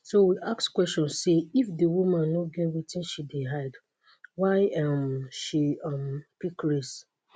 so we ask question say if di woman no get wetin she dey hide why um she um pick race